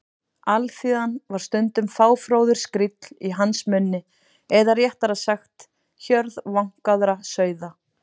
Alþýðan var stundum fáfróður skríll í hans munni eða réttara sagt: hjörð vankaðra sauða.